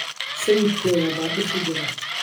Sayidkeeda baa dhib ku jira..